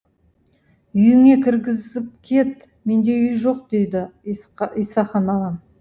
үйіңе кіргізіп кет менде үй жоқ дейді исақан ағам